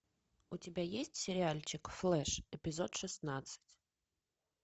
у тебя есть сериальчик флэш эпизод шестнадцать